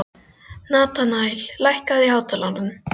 Natanael, lækkaðu í hátalaranum.